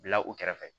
Bila u kɛrɛfɛ